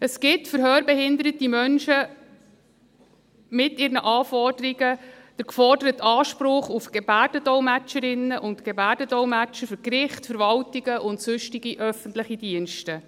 Es gibt für hörbehinderte Menschen mit ihren Anforderungen den geforderten Anspruch auf Gebärdendolmetscherinnen und Gebärdendolmetscher für Gerichte, Verwaltungen und sonstige öffentliche Dienste.